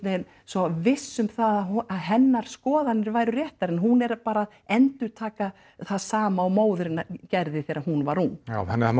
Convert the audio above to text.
veginn svo viss um það að hennar skoðanir væru réttar en hún er bara að endurtaka það sama og móðir hennar gerði þegar hún var ung já þannig að